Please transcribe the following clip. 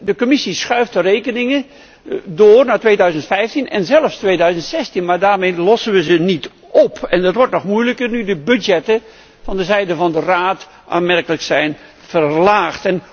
De Commissie schuift de rekeningen door naar 2015 en zelfs 2016, maar daarmee lossen wij het probleem niet op. Dat wordt nog moeilijker nu de budgetten door de Raad aanmerkelijk zijn verlaagd.